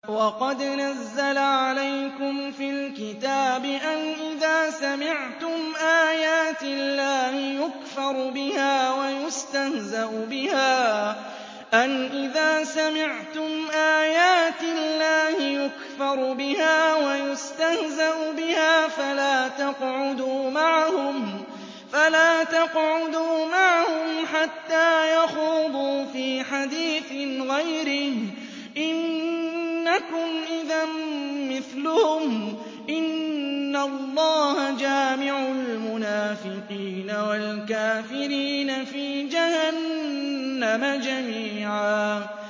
وَقَدْ نَزَّلَ عَلَيْكُمْ فِي الْكِتَابِ أَنْ إِذَا سَمِعْتُمْ آيَاتِ اللَّهِ يُكْفَرُ بِهَا وَيُسْتَهْزَأُ بِهَا فَلَا تَقْعُدُوا مَعَهُمْ حَتَّىٰ يَخُوضُوا فِي حَدِيثٍ غَيْرِهِ ۚ إِنَّكُمْ إِذًا مِّثْلُهُمْ ۗ إِنَّ اللَّهَ جَامِعُ الْمُنَافِقِينَ وَالْكَافِرِينَ فِي جَهَنَّمَ جَمِيعًا